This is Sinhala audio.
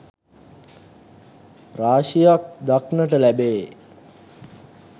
රාශියක් දක්නට ලැබේ.